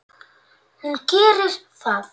Hún gerir það.